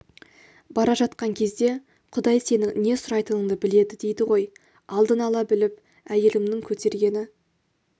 бара жатқан кезде құдай сенің не сұрайтыныңды біледі дейді ғой алдын ала біліп әйелімнің көтергені